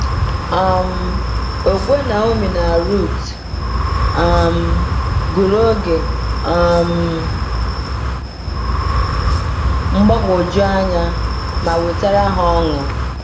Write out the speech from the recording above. um Okwukwe Naomi na Ruth um gụrụ oge um mgbagwoju anya ma wetara ha ọṅụ.